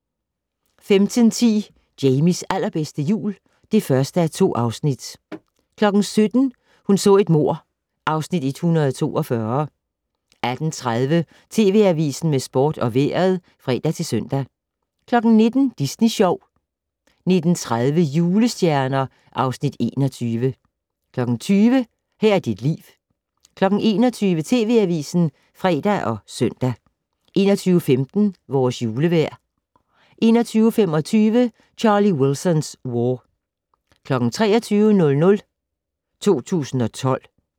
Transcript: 15:10: Jamies allerbedste jul (1:2) 17:00: Hun så et mord (Afs. 142) 18:30: TV Avisen med sport og vejret (fre-søn) 19:00: Disney Sjov 19:30: Julestjerner (Afs. 21) 20:00: Her er dit liv 21:00: TV Avisen (fre og søn) 21:15: Vores julevejr 21:25: Charlie Wilson's War 23:00: 2012